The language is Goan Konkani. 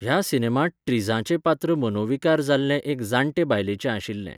ह्या सिनेमांत ट्रिझाचें पात्र मनोविकार जाल्ले एके जाण्टे बायलेचें आशिल्लें.